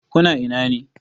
Ku na ina ne?